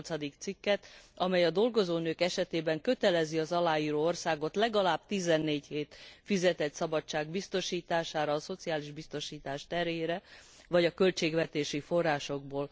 8. cikket amely a dolgozó nők esetében kötelezi az aláíró országot legalább 14 hét fizetett szabadság biztosítására a szociális biztosítás terhére, vagy költségvetési forrásokból.